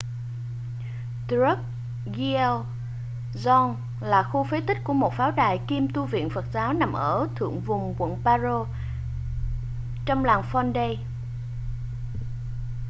drukgyal dzong là khu phế tích của một pháo đài kiêm tu viện phật giáo nằm ở thượng vùng quận paro trong làng phondey